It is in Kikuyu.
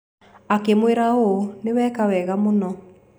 Akĩmwĩra ũũ: "Nĩ weka wega mũno".